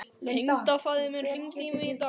Tengdafaðir minn hringdi í mig í dag.